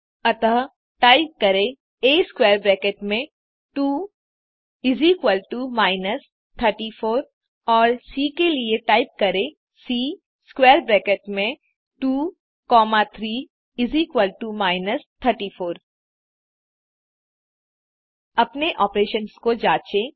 अतः टाइप करें a square bracket में 2 माइनस 34 और सी के लिए टाइप करें सी स्क्वैर ब्रैकेट में 2 कॉमा 3 माइनस 34 अपने ऑपरेशंस को जाँचें